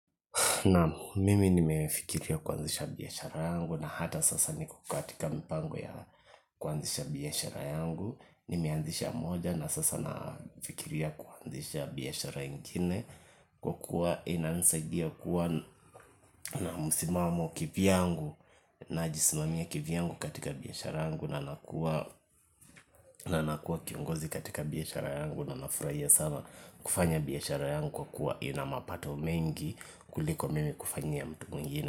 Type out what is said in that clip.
Naam mimi nimefikiria kuanzisha biashara yangu na hata sasa niko katika mpango ya kuanzisha biashara yangu. Nimeanzisha moja na sasa nafikiria kuanzisha biashara ingine kwa kuwa inanisaidia kuwa na msimamo kivyangu. Najisimamia kivyangu katika biashara yangu na nakua kiongozi katika biashara yangu na nafurahia sana kufanya biashara yangu kwa kuwa ina mapato mengi kuliko mimi kufanyia mtu mwingine.